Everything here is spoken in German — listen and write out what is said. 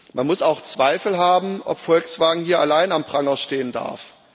Man muss auch Zweifel haben, ob Volkswagen hier alleine am Pranger stehen darf.